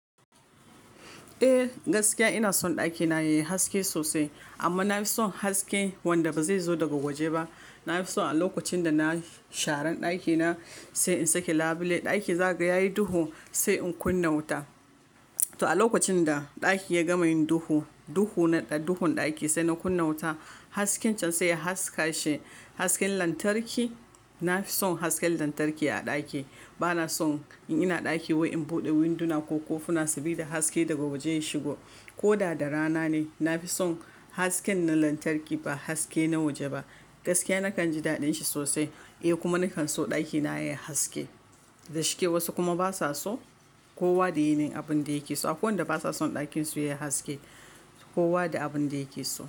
Eh gaskiya ina son ɗakina yayi haske sosai amma na fi son haske wanda ba zai zo daga waje ba. Na fi son a lokacin da na sharan ɗakina sai in sake labule, ɗaki za ga daki yayi duhu sai in kunna wuta. Toh a lokacin da ɗaki ya gama yin duhu, duhu na ɗahun ɗaki sai na kunna wuta hasken can sai ya haskashi, hasken lantarki. Na fi son hasken lantarki a ɗaki. Ba na son in ina ɗaki wai in buɗe winduna ko kofuna sabida haske daga waje ya shigo ko da da rana ne. Na fi son hasken na lantarki ba haske na waje ba. Gaskiya nakan ji daɗin shi sosai eh kuma nakan so ɗakina yayi haske. Da shike wasu kuma basa so. Kowa da yanayin abin da yake so. Akwai wanda basa son ɗakin su yayi haske. Kowa da abin da yake so.